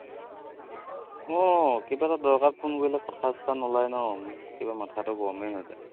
আহ কিবা এটা দৰকাৰত phone কৰিলে কথা চথা নোলাই ন, উম কিবা মাথাটো গৰমেই হৈ আছে।